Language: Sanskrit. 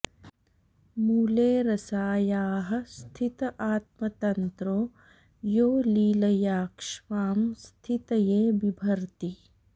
मूले रसायाः स्थित आत्मतन्त्रो यो लीलया क्ष्मां स्थितये बिभर्ति